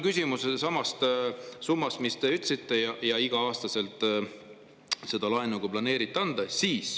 Küsimus on sama summa kohta, mille kohta te ütlesite, et iga-aastaselt seda laenu planeeriti anda.